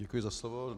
Děkuji za slovo.